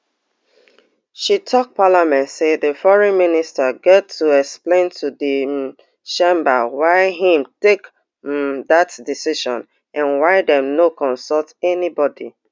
she tok parliament say di foreign minister gat to explain to di um chamber why im take um dat decision and why dem no consult anybody